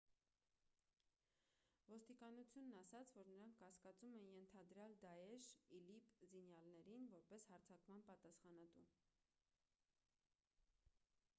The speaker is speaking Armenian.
ոստիկանությունն ասաց որ նրանք կասկածում են ենթադրյալ դաեշ իլիպ զինյալներին՝ որպես հարձակման պատասխանատու: